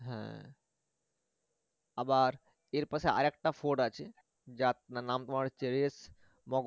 হ্যা আবার এর পাশে আরেকটা fort আছে যার নাম তোমার reis